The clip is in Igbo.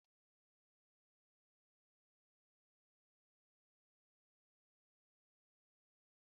Nwoke jinjabréd bụ njem na-atọ ụtọ nke kukí na-agba ọsọ.